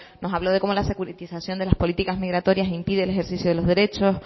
nos habló de cómo la securitización de las políticas migratorias impide el ejercicio de los derechos